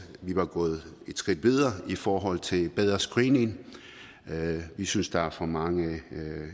at vi var gået et skridt videre i forhold til bedre screening vi synes der er for mange